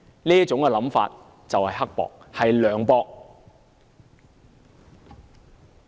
這種想法，何其刻薄和涼薄。